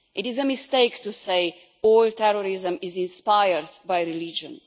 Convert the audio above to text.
It is a mistake to say all terrorism is inspired by religion.